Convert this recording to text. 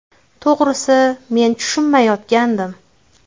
To‘g‘risi, men tushunmayotgandim.